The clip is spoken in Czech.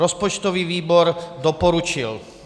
Rozpočtový výbor doporučil.